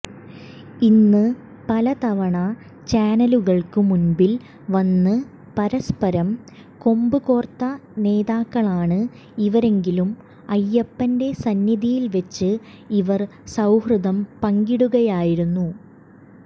ഇന്ന് പലതവണ ചാനലുകൾക്ക് മുമ്പിൽ വന്ന് പരസ്പ്പരം കൊമ്പുകോർത്ത നേതാക്കളാണ് ഇവരെങ്കിലും അയ്യപ്പന്റെ സന്നിധിയിൽ വെച്ച് ഇവർ സൌഹൃദം പങ്കിടുകയായിരുന്നു